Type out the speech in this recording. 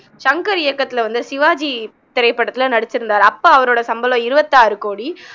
சங்கர் இயக்கத்துல வந்த சிவாஜி திரைப்படத்துல நடிச்சுருந்தாரு அப்போ அவரோட சம்பளம் இருவத்தாறு கோடி